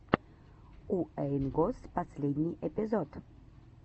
уэйн госс последний эпизод